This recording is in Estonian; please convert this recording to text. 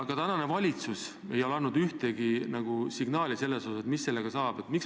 Ka praegune valitsus ei ole andnud ühtegi signaali, mis sellest majast saab.